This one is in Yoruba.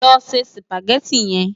Lò sé Sùpágèti yèn